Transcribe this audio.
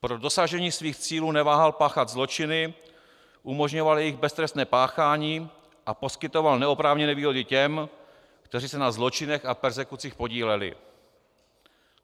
Pro dosažení svých cílů neváhal páchat zločiny, umožňoval jejich beztrestné páchání a poskytoval neoprávněné výhody těm, kteří se na zločinech a perzekucích podíleli.